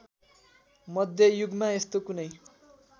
मध्ययुगमा यस्तो कुनै